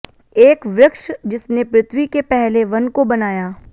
एक वृक्ष जिसने पृथ्वी के पहले वन को बनाया